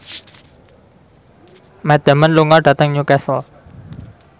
Matt Damon lunga dhateng Newcastle